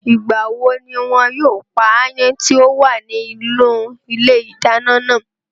Ìgbà wo ní wọn yóò pa áyán tí ó wà nínú ilé ìdáná náà?